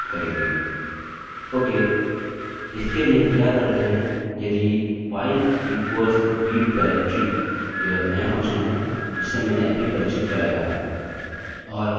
okay इसके लिए हम क्या करते हैं यदि file equals read directory यह नया फंक्शन है जिसे मैंने अभी परिचित कराया है